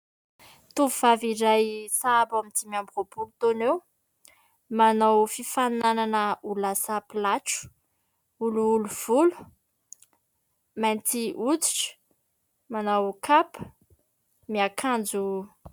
Tovovavy iray sahabo amin'ny dimy amby roapolo taona eo. Manao fifaninanana ho lasa pilatro, olioly volo, mainty hoditra, manao kapa, miakanjo.